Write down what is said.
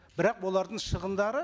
бірақ олардың шығындары